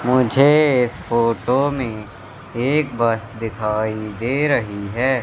मुझे इस फोटो में एक बस दिखाई दे रही है।